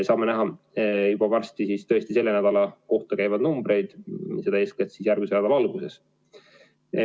Saame juba varsti näha selle nädala kohta käivaid numbreid, eeskätt järgmise nädala alguses.